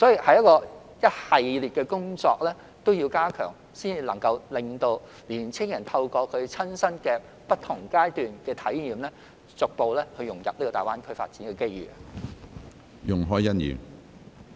這一系列的工作都要加強，才能讓青年人親身透過不同階段的體驗，逐步融入大灣區發展的機遇。